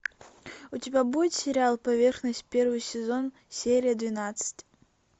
у тебя будет сериал поверхность первый сезон серия двенадцать